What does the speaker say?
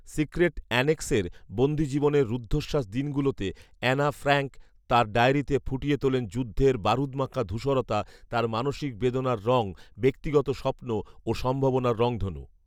secret অ্যানেক্সের বন্দী জীবনের রুদ্ধশ্বাস দিনগুলোতে অ্যানা ফ্রাঙ্ক তাঁর ডায়েরিতে ফুটিয়ে তোলেন যুদ্ধের বারুদমাখা ধূসরতা, তার মানসিক বেদনার রং, ব্যক্তিগত স্বপ্ন ও সম্ভাবনার রংধনু